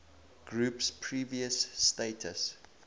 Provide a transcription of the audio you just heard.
group's previous status